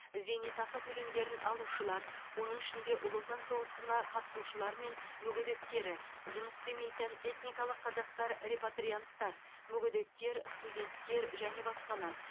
зейнетақы төлемдерін алушылар оның ішінде ұлы отан соғысына қатысушылары мен мүгедектері жұмыс істемейтін этникалық қазақтар репатрианттар мүгедектер студенттер және басқалар